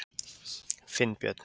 Finnbjörn